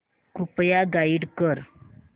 कृपया गाईड कर